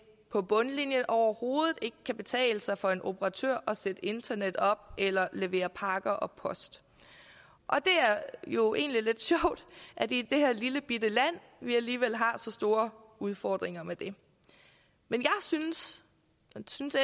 på bundlinjen overhovedet ikke kan betale sig for en operatør at sætte internet op eller levere pakker og post og det er jo egentlig lidt sjovt at vi i det her lillebitte land alligevel har så store udfordringer med det men jeg synes